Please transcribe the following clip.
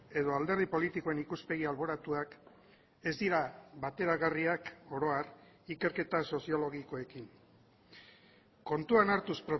edo alderdi politikoen ikuspegi alboratuak ez dira bateragarriak oro har ikerketa soziologikoekin kontuan hartuz